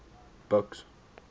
buks